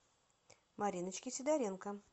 мариночке сидоренко